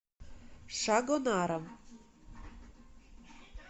шагонаром